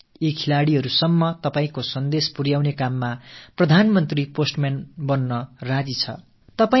உங்கள் வாழ்த்துக்களை நமது விளையாட்டு வீரர்களுக்கு கொண்டு சேர்க்க நாட்டின் பிரதமர் தபால்காரர் ஆகத் தயாராக இருக்கிறார்